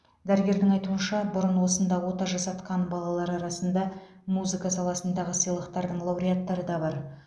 дәрігердің айтуынша бұрын осында ота жасатқан балалар арасында музыка саласындағы сыйлықтардың лауреаттары да бар